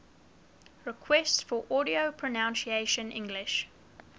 requests for audio pronunciation english